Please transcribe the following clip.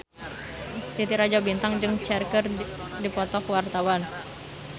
Titi Rajo Bintang jeung Cher keur dipoto ku wartawan